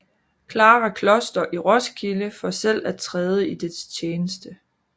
Clara Kloster i Roskilde for selv at træde i dets tjeneste